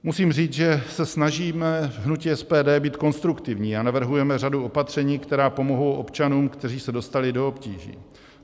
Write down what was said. Musím říct, že se snažíme v hnutí SPD být konstruktivní a navrhujeme řadu opatření, která pomohou občanům, kteří se dostali do obtíží.